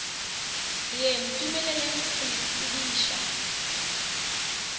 ye ntumeleleng go le tsebiša